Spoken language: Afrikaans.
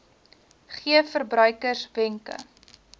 gee verbruikers wenke